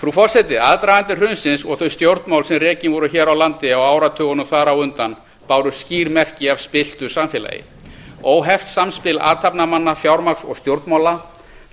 frú forseti aðdragandi hrunsins og þau stjórnmál sem rekin voru hér á landi á áratugunum þar á undan báru skýr merki af spillt samfélagi óheft samspil athafnamanna fjármagns og stjórnmála